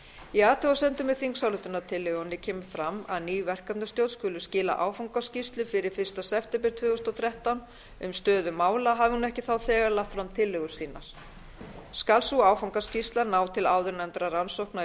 í athugasemdum með þingsályktunartillögunni kemur fram að ný verkefnastjórn skuli skila áfangaskýrslu fyrir fyrsta september tvö þúsund og þrettán um stöðu mála hafi hún ekki þá þegar lagt fram tillögur sínar skal sú áfangaskýrsla ná til áðurnefndra rannsókna í